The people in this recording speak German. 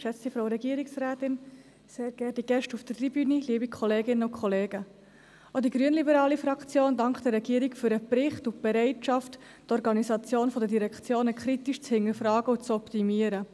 Auch die grünliberale Fraktion dankt der Regierung für den Bericht und die Bereitschaft, die Organisation der Direktionen kritisch zu hinterfragen und zu optimieren.